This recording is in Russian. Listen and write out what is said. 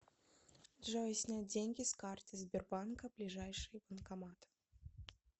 джой снять деньги с карты сбербанка ближайший банкомат